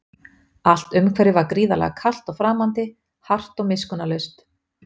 Allt umhverfið var gríðarlega kalt og framandi, hart og miskunnarlaust.